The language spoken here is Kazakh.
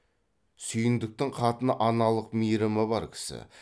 сүйіндіктің қатыны аналық мейірімі бар кісі